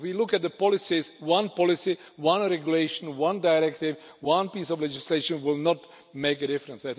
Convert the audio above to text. And if we look at the policies, one policy, one regulation, one directive, one piece of legislation will not make a difference.